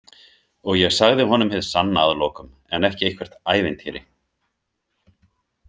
Og ég sagði honum hið sanna að lokum en ekki eitthvert ævintýri.